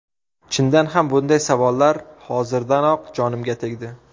Chindan ham, bunday savollar hozirdanoq jonimga tegdi.